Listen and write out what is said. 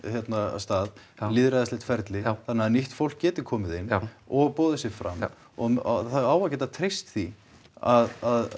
stað lýðræðislegt ferli þannig að nýtt fólk geti komið inn og boðið sig fram og það á að geta treyst því að